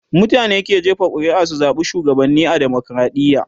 mutane ke jefa ƙuri'a su zaɓa shugabanni a demokradiya